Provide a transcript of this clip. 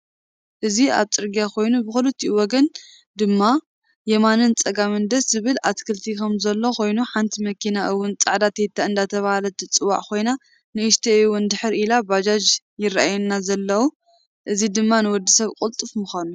እዚ ኣብ ፀርግያ ኮይኑ ብክልቲኡ ወገን ድማ የማኒን ፀጋምን ደስ ዝብል ኣትክልቲ ከም ዘሎ ኮይኑ ሓንቲ መኪና እውን ፃዕዳ ቴታ እደተበሃለት ትፅዋዕ ኮይና ንእሽተይ እውን ድሕር ኢለን ባጃ ይራኣዩና ዘኣለው እዚ ድማ ንወድሰብ ቁልጥፍ ምካኑ።